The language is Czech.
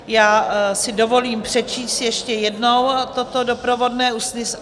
Já si dovolím přečíst ještě jednou toto doprovodné usnesení.